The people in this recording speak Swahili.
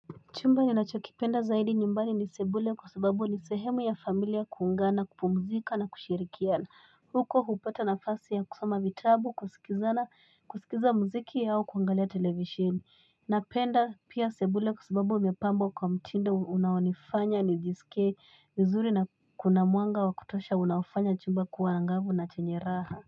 Chumba ni nacho kipenda zaidi nyumbani ni sebule kwa sababu ni sehemu ya familia kuungana kupumzika na kushirikiana. Huko hupata nafasi ya kusoma vitabu kusikilizana kusikiza muziki au kuangalia televishini na penda pia sebule kwa sababu imepambwa kwa mtindo unaonifanya nijisike vizuri na kuna mwanga wa kutosha unaofanya chumba kuwa angavu na chenye raha.